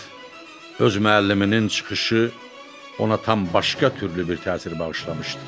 Fəqət öz müəlliminin çıxışı ona tam başqa türlü bir təsir bağışlamışdı.